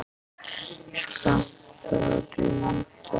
Skammt frá dundar